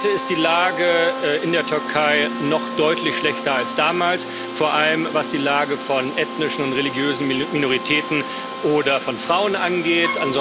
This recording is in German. Heute ist die Lage in der Türkei noch deutlich schlechter als damals, vor allem was die Lage von ethnischen und religiösen Minoritäten oder von Frauen angeht.